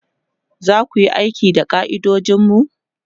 zaku Yi aiki da ka'idojinmu?